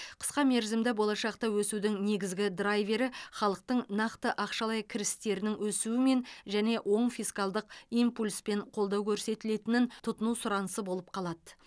қысқа мерзімді болашақта өсудің негізгі драйвері халықтың нақты ақшалай кірістерінің өсуімен және оң фискалдық импульспен қолдау көрсетілетін тұтыну сұранысы болып қалады